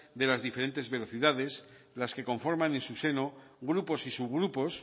de las diferentes velocidades las que conforman en su seno grupos y subgrupos